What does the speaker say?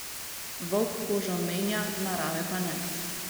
Volk kožo menja, narave pa ne.